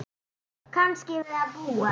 Kannski við að búast.